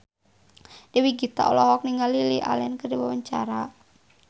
Dewi Gita olohok ningali Lily Allen keur diwawancara